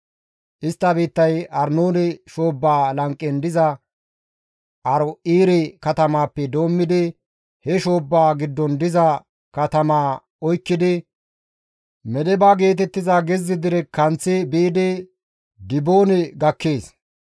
Istta biittay Arnoone shoobbaa lanqen diza Aaro7eere katamappe doommidi he shoobbaa giddon diza katamaa oykkidi Medeba geetettiza gezze dere kanththi biidi Diboone gakkees.